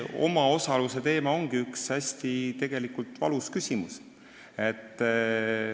Omaosalus ongi hästi valus küsimus.